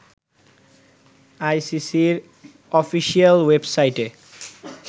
আইসিসির অফিশিয়াল ওয়েবসাইটে